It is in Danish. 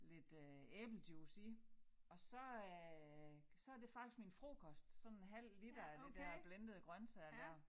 Lidt øh æblejuice i og så øh så det faktisk min frokost sådan en halv liter af det dér blendede grøntsager dér